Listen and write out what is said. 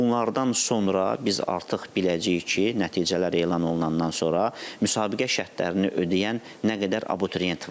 Bax bunlardan sonra biz artıq biləcəyik ki, nəticələr elan olunandan sonra müsabiqə şərtlərini ödəyən nə qədər abituriyent var.